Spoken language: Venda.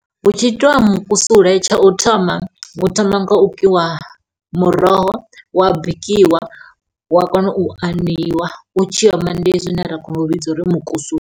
Hu tshi itiwa mukusule tsha u thoma hu thoma nga u kiwa muroho wa bikiwa wa kona u aneiwa u tshiyo u oma ndi hezwi zwine ra kona u vhidza uri mukusule.